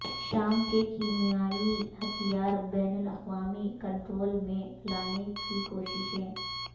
شام کے کیمیائی ہتھیار بین الاقوامی کنٹرول میں لانے کی کوششیں